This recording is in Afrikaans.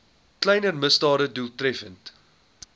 kleiner misdade doeltreffend